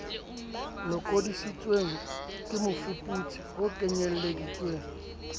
lokodisitsweng ke mofuputsi ho kenyeleditswe